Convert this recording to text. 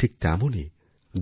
ঠিক তেমনই